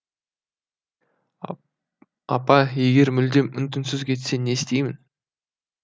апа егер мүлдем үн түнсіз кетсе не істеймін